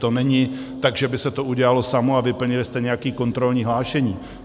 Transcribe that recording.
To není tak, že by se to udělalo samo a vyplnili jste nějaké kontrolní hlášení.